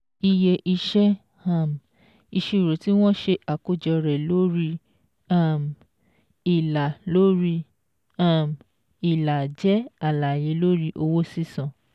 Iye iṣẹ́ um ìṣirò tí wọ́n ṣe àkọ́jọ rẹ̀ lórí um ìlà lórí um ìlà jẹ́ àlàyé lórí owó sísan